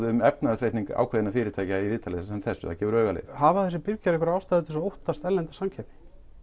um efnahagsreikning ákveðinna fyrirtækja í viðtali eins og þessu það gefur auga leið hafa þessir birgjar einhverja ástæðu til þess að óttast erlenda samkeppni